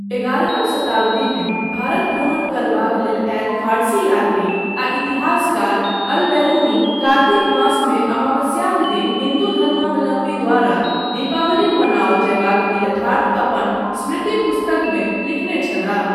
एगारहम शताब्दीमे भारत भ्रमण करबाक लेल आयल फारसी यात्री आ इतिहासकार अल बेरुनी कार्तिक मासमे अमावस्याक दिन हिन्दू धर्मावलम्बी द्वारा दीपावली मनाओल जयबाक यथार्थ अपन स्मृति पुस्तकमे लिखने छलाह।